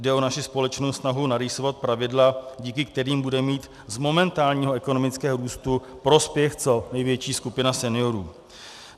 Jde o naši společnou snahu narýsovat pravidla, díky kterým bude mít z momentálního ekonomického růstu prospěch co největší skupina seniorů.